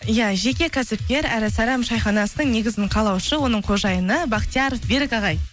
иә жеке кәсіпкер әрі сайрам шайханасының негізін қалаушы оның қожайыны бахтияр берік ағай